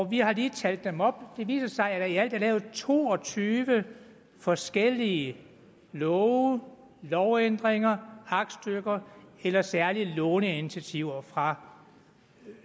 vi har lige talt dem op det viser sig at der i alt er lavet to og tyve forskellige love lovændringer aktstykker eller særlige låneinitiativer fra